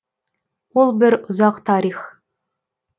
ол бір ұзақ тарих